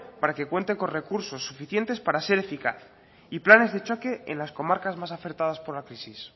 para que cuenten con recursos suficientes para ser eficaz y planes de choque en las comarcas más afectadas por la crisis